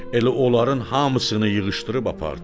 Elə onların hamısını yığışdırıb apardı.